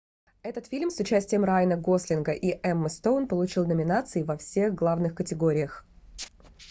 этот фильм с участием райана гослинга и эммы стоун получил номинации во всех главных категориях